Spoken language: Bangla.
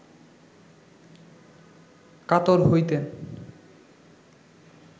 কাতর হইতেন